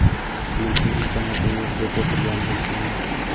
lekin imkoniyatim yo‘q deb o‘tirgan bo‘lsangiz.